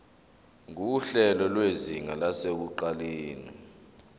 nguhlelo lwezinga lasekuqaleni